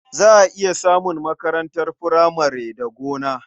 Za a iya samun makarantar furamare da gona.